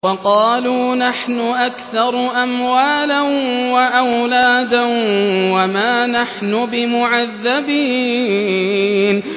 وَقَالُوا نَحْنُ أَكْثَرُ أَمْوَالًا وَأَوْلَادًا وَمَا نَحْنُ بِمُعَذَّبِينَ